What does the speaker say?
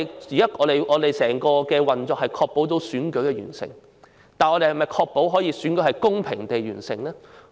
現時整個運作是為確保選舉完成，但我們能否確保選舉是公平地完成？